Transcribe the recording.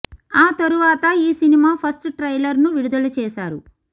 ఆ తరువాత ఈ సినిమా ఫస్ట్ ట్రైలర్ ను విడుదల చేశారు